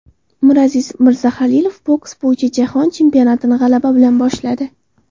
Miraziz Mirzahalilov boks bo‘yicha Jahon chempionatini g‘alaba bilan boshladi.